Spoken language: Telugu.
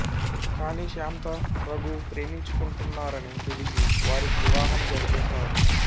కాని శాంత రఘు ప్రేమించుకుంటున్నారని తెలిసి వారికి వివాహం జరిపిస్తాడు